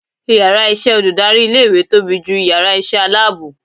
ìyára iṣẹ olùdarí ilé ìwé tobí jú ìyára iṣẹ alabọ